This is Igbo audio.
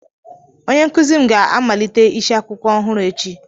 Onye nkuzi m ga-amalite isiakwụkwọ ọhụrụ echi